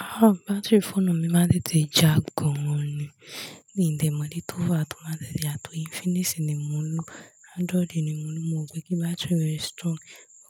Ah, battery phone mi máa ń tètè já gan ni. Mi o dè mo ìdí tó fàá tó máa tètè jà toríInfinix ni mo ń lò, Android ni mo ń lò. Mo rò pé kí battery rẹ̀ strong,